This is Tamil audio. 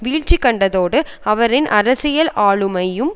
வீழ்ச்சி கண்டதோடு அவரின் அரசியல் ஆளுமையும்